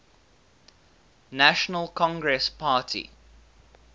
national congress party